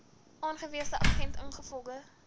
aangewese agent ingevolge